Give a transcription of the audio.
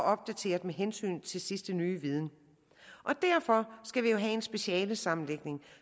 opdateret med hensyn til sidste nye viden derfor skal vi jo have en specialesammenlægning